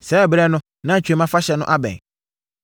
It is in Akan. Saa ɛberɛ no na Twam Afahyɛ no abɛn.